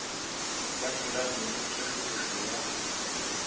ba thulane le tsošološo ya